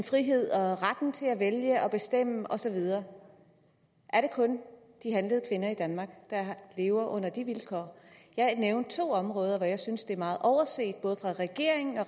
frihed og retten til at vælge og bestemme og så videre er det kun de handlede kvinder i danmark der lever under de vilkår jeg nævnte to områder som jeg synes er meget overset af både regeringen og